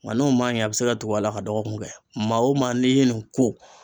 Nga n'o ma ɲɛ a be se ka tugu a la ka dɔgɔkun kɛ. Maa wo maa n'i ye nin ko